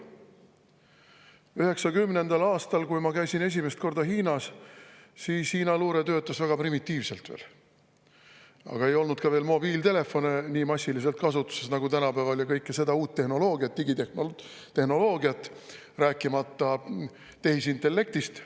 1990. aastal, kui ma käisin esimest korda Hiinas, töötas Hiina luure veel väga primitiivselt, aga siis ei olnud ka veel mobiiltelefone nii massiliselt kasutuses nagu tänapäeval ja kogu seda uut tehnoloogiat, digitehnoloogiat, rääkimata tehisintellektist.